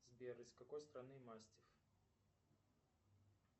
сбер из какой страны мастиф